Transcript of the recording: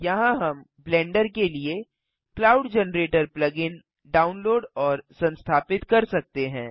यहाँ हम ब्लेंडर के लिए cloud generator plug in download और संस्थापित कर सकते हैं